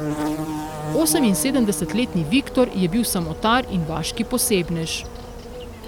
Oseminsedemdesetletni Viktor je bil samotar in vaški posebnež.